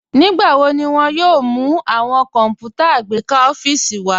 Nígbàwọ̀ ní wọn yóò mú awọn kọnpútà àgbékà ọfiísì wa?